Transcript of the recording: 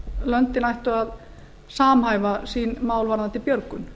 löndin ættu að samhæfa sín mál varðandi björgun